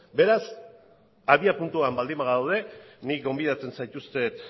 beraz abiapuntuan baldin bagaude nik gonbidatzen zaituzten